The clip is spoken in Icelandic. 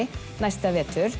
næsta vetur